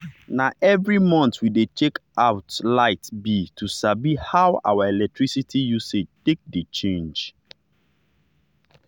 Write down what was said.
na every month we dey check out light bill to sabi how our electricity usage take dey change.